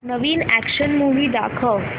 नवीन action movie दाखव